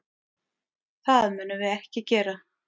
Það munum við ekki gera.